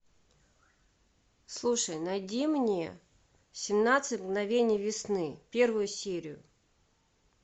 слушай найди мне семнадцать мгновений весны первую серию